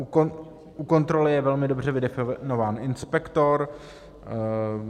U kontroly je velmi dobře vydefinován inspektor.